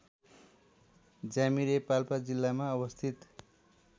ज्यामिरे पाल्पा जिल्लामा अवस्थित